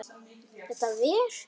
Þetta ver?